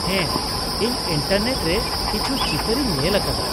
ᱦᱮᱸ, ᱤᱧ ᱤᱱᱴᱟᱨᱱᱮᱴ ᱨᱮ ᱠᱤᱪᱷᱩ ᱪᱤᱛᱟᱹᱨ ᱤᱧ ᱧᱮᱞ ᱟᱠᱟᱫᱟ ᱾